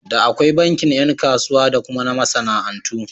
Da akwai bankin ƴan kasuwa da kuma na masana'antu.